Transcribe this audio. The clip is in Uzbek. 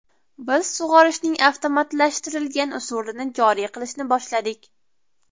Biz sug‘orishning avtomatlashtirilgan usulini joriy qilishni boshladik.